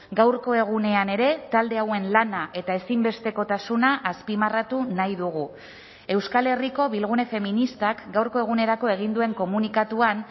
gaurko egunean ere talde hauen lana eta ezinbestekotasuna azpimarratu nahi dugu euskal herriko bilgune feministak gaurko egunerako egin duen komunikatuan